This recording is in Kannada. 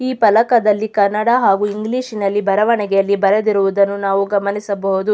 ಈ ಫಲಕದಲ್ಲಿ ಕನ್ನಡ ಹಾಗು ಇಂಗ್ಲಿಷ್ ನಲ್ಲಿ ಬರವಣಿಗೆಯಲ್ಲಿ ಬರೆದಿರುವುದನ್ನು ನಾವು ಗಮನಿಸಬಹುದು.